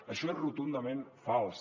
això és rotundament fals